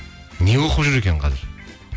не оқып жүр екен қазір